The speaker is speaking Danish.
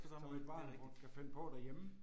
Som et barn godt kan finde på derhjemme